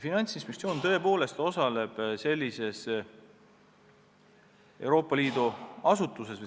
Me oleme seda kohustatud tegema, see tuleneb Euroopa Liidu õigusaktidest.